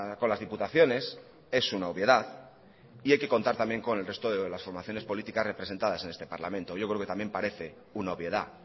con las diputaciones es una obviedad y hay que contar también con el resto de las formaciones políticas representadas en este parlamento yo creo que también parece una obviedad